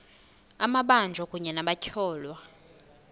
amabanjwa kunye nabatyholwa